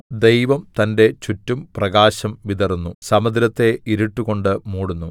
ദൈവം തന്റെ ചുറ്റും പ്രകാശം വിതറുന്നു സമുദ്രത്തെ ഇരുട്ടുകൊണ്ട് മൂടുന്നു